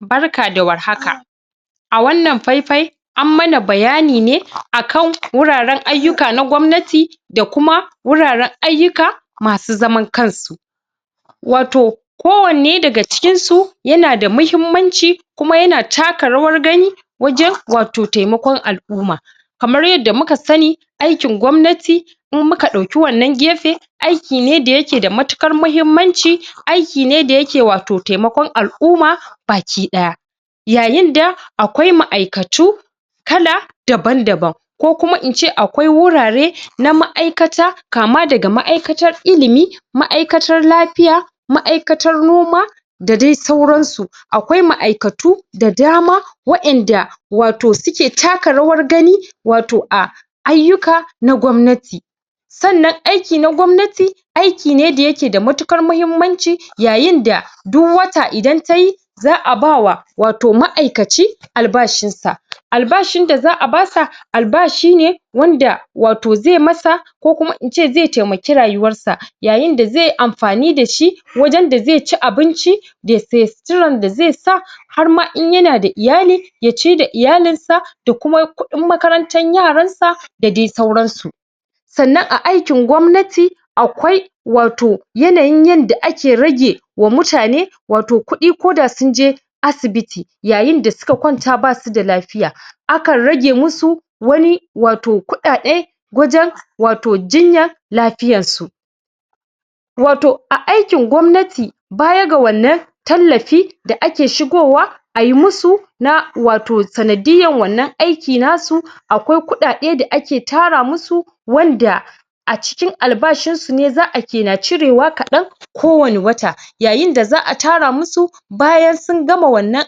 Barka da warhaka a wannan fai-fai an mana bayani ne a kan wuraren ayyuka na gwamnati da kuma wuraren ayyuka masu zaman kan su. Wato kowanne daga cikin su yana da mahimmanci kuma yana taka rawar gani wajen wato taimakon al'umma kamar yadda muka sani aikin gwamnati in muka ɗauki wannan gefe aiki ne da yake da matuƙar mahimmanci aiki ne da yake wato taimakon al'umma bakiɗaya yayin da akwai ma'aikatu kala daban-daban ko kuma in ce akwai wurare na ma'aikata kama daga ma'aikatar ilimi, ma'aikatar lafiya, ma'aikatar noma, da dai sauran su akwai ma'aikatu da dama waƴanda wato suke taka rawar gani wato a ayyuka na gwamnati sannan aiki na gwamnati aiki ne da yake da matuƙar mahimmanci yayin da duk wata idan ta yi za'a ba wa wato ma'aikaci albashin sa albashin da za'a ba sa albashi ne wanda wato ze masa ko kuma in ce ze taimaki rayuwar sa yayin da ze amfani da shi wajen da zai ci abinci ya se suturan da ze sa har ma in yana da iyali ya ci da iyalin sa ya kuma yi kuɗin makarantan yaran sa da de sauran su sannan a aikin gwamnati akwai wato yanayin yanda ake rage wa mutane wato kuɗi ko da sun je asibiti yayin da su ka kwanta basu da lafiya a kan rage musu wani wato kuɗaɗe wajen wato jinya lafiyan su wato a aikin gwamnati baya ga wannan tallafi da ake shigowa ai musu na wato sanadiyyan wannan aiki na su akwai kuɗaɗe da ake tara musu wanda a cikin albashin su ne za'a ke na cirewa kaɗan ko wani wata yayin da za'a tara musu bayan sun gama wannan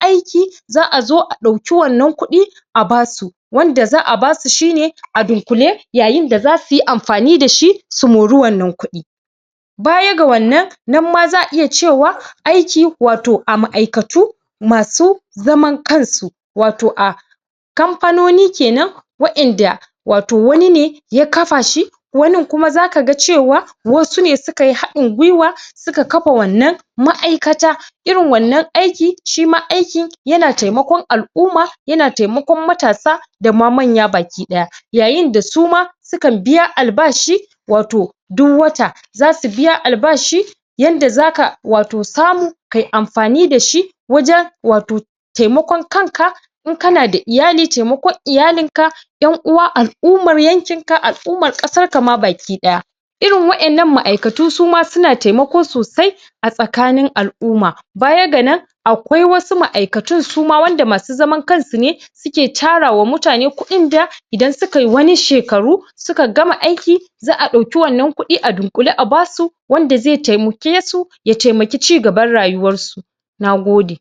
aiki za'a zo a ɗauki wannan kuɗi a ba su wanda za'a ba su shi ne a dunƙule yayin da zasu yi amfani da shi su mori wannan kuɗi baya ga wannan, nan ma za'a iya cewa aiki wato a ma'aikatu masu zaman kan su wato a kamfanoni kenan waƴanda wato wani ne ya kafa shi wanin kuma zaka ga cewa wasu ne su ka yi haɗin gwuiwa suka kafa wannan ma'aikata irin wannan aiki, shi ma aiki yana taimakon al'umma yana taimakon matasa dama manya bakiɗaya yayin da su ma su kan biya albashi wato duk wata zasu biya albashi yanda zaka, wato samu kai amfani da shi wajen wato taimakon kan ka in kana da iyali, taimakon iyalin ka ƴan'uwa, al'ummar yankin ka, al'ummar ƙasan ka ma bakiɗaya irin waƴannan ma'aikatu su ma suna taimako sosai a tsakanin al'umma bayan ga nan akwai wasu ma'aikatun suma wanda masu zaman kan su ne su ke tara wa mutane kuɗin da idan su kai wani shekaru suka gama aiki za'a ɗauki wannan kuɗi a dunƙule a ba su wanda ze taimake su ya taimaki cigaban rayuwar su na gode.